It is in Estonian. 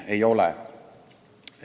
Ei ole!